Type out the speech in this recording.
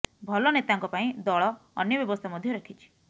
ଭଲ ନେତାଙ୍କ ପାଇଁ ଦଳ ଅନ୍ୟ ବ୍ୟବସ୍ଥା ମଧ୍ୟ ରଖିଛି